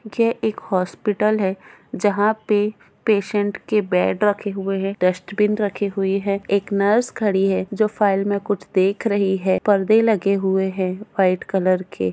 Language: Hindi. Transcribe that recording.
ये एक हॉस्पिटल है जहा पे पेशंट्स के बेड रखे हुए है डस्टबिन रखी हुयी है एक नर्स खड़ी है जो फाइल में कुछ देख रही है परदे लगे हुए है व्हाइट कलर के।